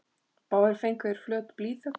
Báðir fengu þeir flöt blýþök.